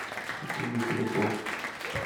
найди телепорт